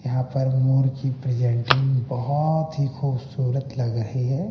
यहां पर मोर की प्रेजेंटिंग बहोत ही खूबसूरत लग रही है।